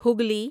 Hooghly